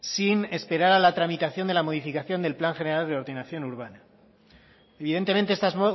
sin esperar a la tramitación de la modificación del plan general de ordenación urbana evidentemente estas